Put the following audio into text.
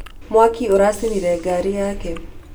Mwaki ũracinire ngari yake.